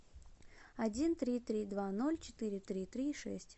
один три три два ноль четыре три три шесть